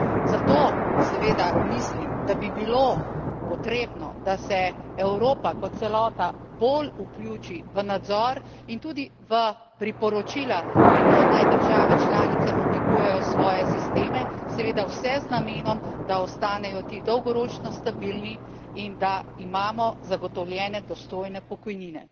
Zato seveda mislim, da bi bilo potrebno, da se Evropa kot celota bolj vključi v nadzor in tudi v priporočila, kako naj države članice oblikujejo svoje sisteme, seveda vse z namenom, da osntanejo ti dolgoročno stabilni in da imamo zagotovljene dostojne pokojnine.